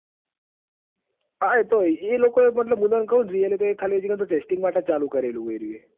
હા એતો એ લોકોએ મતલબ really ભાઈ ખાલી testing માટે જ ચાલુ કરેલું છે. એરયું એ